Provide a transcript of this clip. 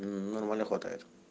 нормально хватает